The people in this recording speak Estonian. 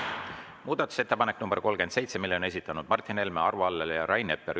Muudatusettepaneku nr 37 on esitanud Martin Helme, Arvo Aller ja Rain Epler.